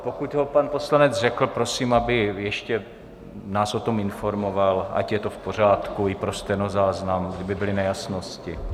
Pokud ho pan poslanec řekl, prosím, aby nás ještě o tom informoval, ať je to v pořádku i pro stenozáznam, kdyby byly nejasnosti.